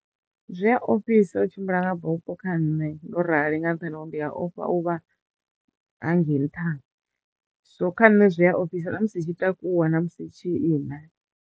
Zwi ya ofhisa u tshimbila nga bupho kha nṋe ndo rali nga nṱhani ho ri ndi a ofha u vha hangei nṱha so kha nṋe zwi a ofhisa na musi tshi takuwa na musi tshi ima.